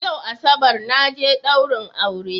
Yau asabar naje daurin aure